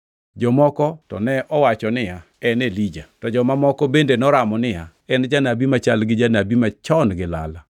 Joma moko to ne wacho niya, “En Elija.” To joma moko bende noramo niya, “En janabi machal gi jonabi machon gi lala.”